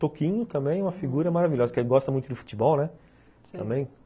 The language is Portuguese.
Toquinho também é uma figura maravilhosa, porque ele gosta muito do futebol, né?